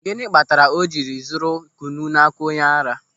Gịnị kpatara o jiri zụrụ kwụnụ n'aka onye ara?